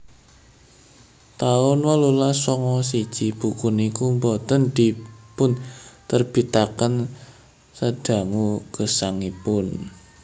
taun wolulas sanga siji buku niku boten dipunterbitaken sadangu gesangipun